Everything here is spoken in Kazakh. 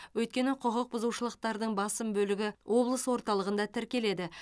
өйткені құқықбұзушылықтардың басым бөлігі облыс орталығында тіркеледі